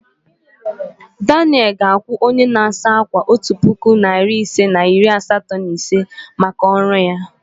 Daniel ga-akwụ onye na-asa ákwà otu puku naịra isii na iri asatọ na ise maka ọrụ ya.